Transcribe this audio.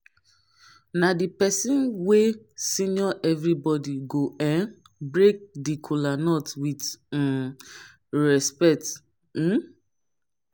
na di pesin wey senior evribodi go um break di kolanut with um respekt um